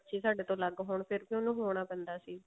ਵੀ ਸਾਡੇ ਤੋਂ ਅਲੱਗ ਹੋਣ ਫੀ ਵੀ ਉਹਨੂੰ ਹੋਣਾ ਪੈਂਦਾ ਸੀ